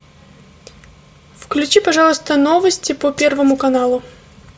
включи пожалуйста новости по первому каналу